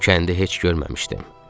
O kəndi heç görməmişdim.